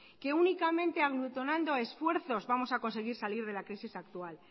que únicamente aglutinando esfuerzos vamos a conseguir salir de la crisis actual